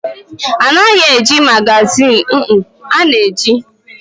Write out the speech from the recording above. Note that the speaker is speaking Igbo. A na-eji magazin eme foto foto.